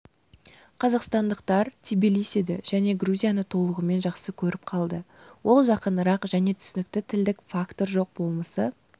қазақстандықтар тбилисиді және грузияны толығымен жақсы көріп қалды ол жақынырақ және түсінікті тілдік фактор жоқ болмысы